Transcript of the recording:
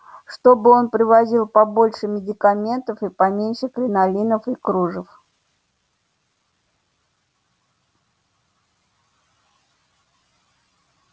чтобы он привозил побольше медикаментов и поменьше кринолинов и кружев